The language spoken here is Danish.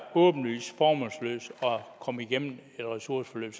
åbenlyst formålsløst at komme igennem et ressourceforløb